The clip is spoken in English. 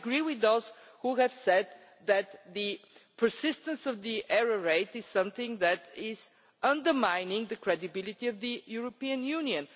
I agree with those who have said that the persistence of the error rate is something that is undermining the credibility of the European Union.